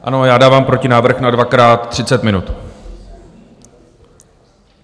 Ano, já dávám protinávrh na dvakrát třicet minut.